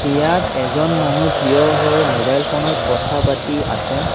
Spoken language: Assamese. ইয়াত এজন মানুহ থিয় হৈ মোবাইল ফোনত কথা পাতি আছে।